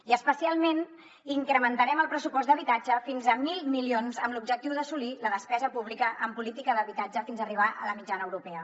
i especialment incrementarem el pressupost d’habitatge fins a mil milions amb l’objectiu d’assolir la despesa pública en política d’habitatge fins arribar a la mitjana europea